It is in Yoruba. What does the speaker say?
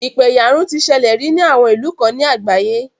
Ìpẹ̀yàrun ti ṣẹlẹ̀ rí ní àwọn ìlú kan ní àgbáyé.